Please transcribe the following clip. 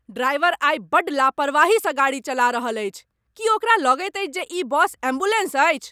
Driver आइ बड्ड लापरवाही सँ गाड़ी चला रहल अछि। की ओकरा लगैत अछि जे ई बस एम्बुलेंस अछि?